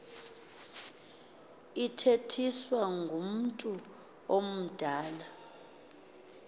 ithethiswa ngumntu omdala